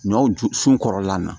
Ɲɔw ju sun kɔrɔlan na